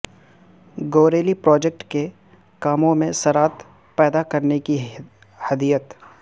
گوریلی project کے کاموں میں سرعت پیدا کرنے کی ہدیت